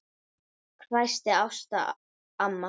hvæsti Ása amma.